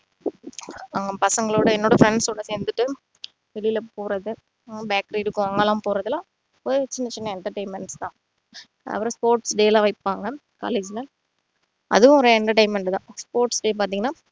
ஆஹ் பசங்களோட என்னோட friends ஓட சேர்ந்துட்டு வெளில போறது bike ride போறது எல்லாம் ஒரு சின்ன சின்ன entertainment தான் அவரு sports day லாம் வைப்பாங்க college ல அதுவும் ஒரு entertainment தான் sports day பாத்தீங்கன்னா